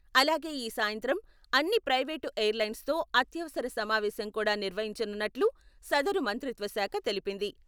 అలాగే ఈ సాయంత్రం అన్ని ప్రైవేటు ఎయిర్లైన్స్తో అత్యవసర సమావేశం కూడా నిర్వహించనున్నట్లు సదరు మంత్రిత్వశాఖ తెలిపింది.